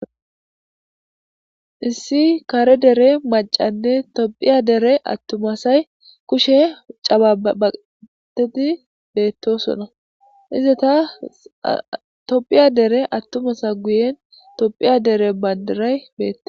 issi kare dere macanne tophiya dere attumasay kushe cababateti beettosona izata tophiya dere attumasa guyen tophiya dere bandiray beette